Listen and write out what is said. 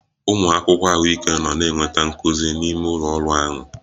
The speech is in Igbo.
Ụmụ akwụkwọ ahụike nọ na-enweta nkuzi n'ime ụlọ ọrụ ahụ